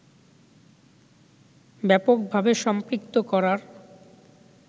ব্যাপকভাবে সম্পৃক্ত করার